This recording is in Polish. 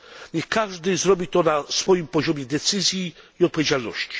Niech każdy zrobi to na swoim poziomie decyzji i odpowiedzialności.